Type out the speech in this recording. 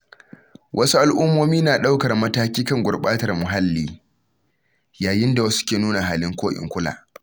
Wasu al’ummomi na ɗaukar mataki kan gurbatar muhalli, yayin da wasu ke nuna halin ko in kula.